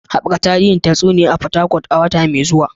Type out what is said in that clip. Haɓaka tarin tatsuniyoyi a Fatakwal a wata mai zuwa